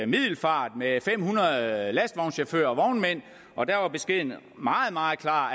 middelfart med fem hundrede lastvognschauffører og vognmænd og der var beskeden meget meget klar